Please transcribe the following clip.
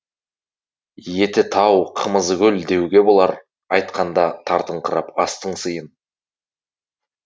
еті тау қымызы көл деуге болар айтқанда тартыңқырап астың сыйын